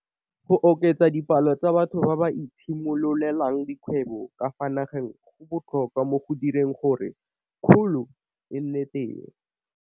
Go oketsa dipalo tsa batho ba ba itshimololelang dikgwebo ka fa nageng go botlhokwa mo go direng gore kgolo e nne teng.